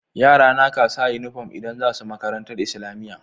Yara na ƙasa inufom idan zasu Makarantar islamiya